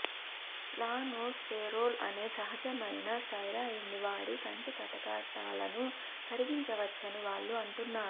lanosterol అనే సహజమైన స్టెరాయిడ్ని వాడి కంటి కటకాలను కరిగించవచ్చని వాళ్ళు అంటున్నారు